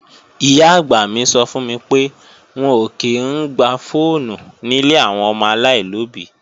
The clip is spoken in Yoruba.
Ìyá-àgbà mi sọ fún mi pé, wọn ò kí í ń gba fọ́ọ̀nù nílé àwọn ọmọ aláìlóbí.